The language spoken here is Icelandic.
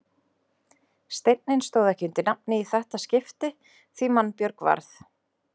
Steinninn stóð ekki undir nafni í þetta skipti því mannbjörg varð.